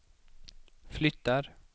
flyttar